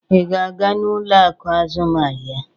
Ị ga-aga n'ụlọ akụ azụmaahịa?